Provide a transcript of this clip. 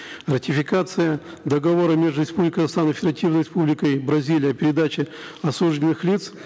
ратификация договора между республикой казахстан и федеративной республикой бразилия в передаче осужденных лиц